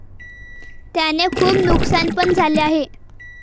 त्याने खूप नुकसान पण झाले आहे.